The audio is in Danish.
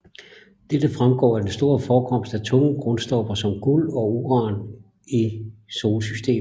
Dette fremgår af den store forekomst af tunge grundstoffer som guld og uran i solsystemet